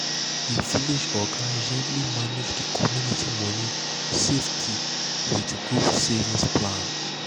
the village oga gently manage the community money safety wit group savings plan.